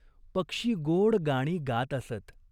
पक्षी गोड गाणी गात असत.